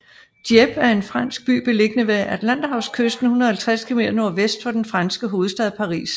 Dieppe er en fransk by beliggende ved Atlanterhavskysten 150 km nordvest for den franske hovedstad Paris